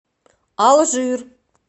алжир